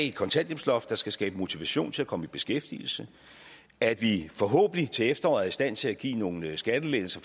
et kontanthjælpsloft der skal skabe motivation til at komme i beskæftigelse at vi forhåbentlig til efteråret er i stand til at give nogle skattelettelser